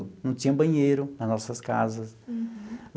Não tinha banheiro nas nossas casas. Uhum.